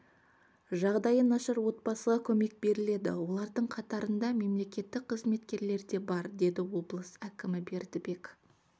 жағдайы нашар отбасыға көмек беріледі олардың қатарында мемлекеттік қызметкерлер де бар деді облыс әкімі бердібек